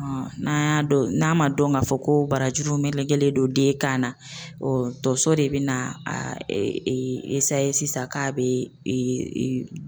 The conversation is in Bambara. N'an y'a dɔn n'a ma dɔn k'a fɔ ko barajuru melekelen don den kan na tonso de be na sa sisan k'a be